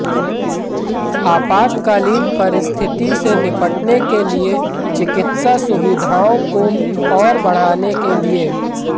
आपातकालीन परिस्थिति से निपटने के लिए चिकित्सा सुविधाओं को और बढ़ाने के लिए